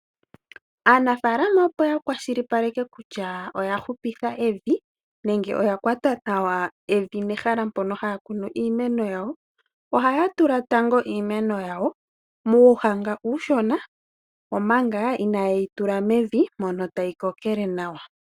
Aanafaalama opo ya kwashilipaleke kutya oya hupitha evi nenge oya kwata nawa evi nehala mpono haya kunu meno yawo, ohaya tula tando iimeno yawo muuhanga uushona, omanga inaye yi tula mevi mono tayi kokekele nawa.